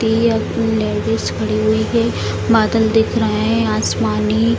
खड़ी हुई है बादल दिख रहे है आसमानी।